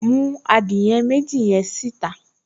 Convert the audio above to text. Mú adìẹ méjì yẹn síta